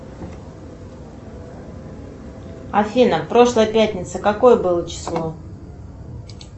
афина прошлая пятница какое было число